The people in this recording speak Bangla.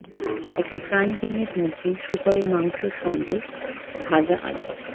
একটি ফ্রাইং প্যানের মধ্যে শুকরের মাংস সঙ্গে ভাজা আলু